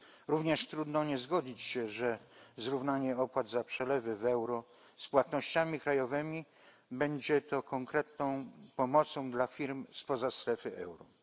Również trudno nie zgodzić się, że zrównanie opłat za przelewy w euro z płatnościami krajowymi będzie konkretną pomocą dla firm spoza strefy euro.